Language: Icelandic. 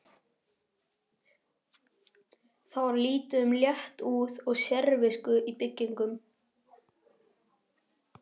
Það var lítið um léttúð og sérvisku í byggingum.